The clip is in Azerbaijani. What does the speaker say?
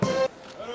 Əmr verək!